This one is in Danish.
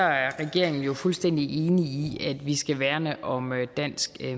regeringen jo fuldstændig enig i at vi skal værne om dansk